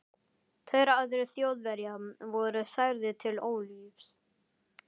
Tveir aðrir Þjóðverjar voru særðir til ólífis.